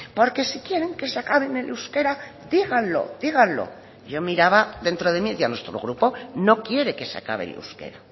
porque si quieren que se acabe el euskera díganlo díganlo y yo miraba dentro de mí y decía nuestro grupo no quiere que se acabe el euskera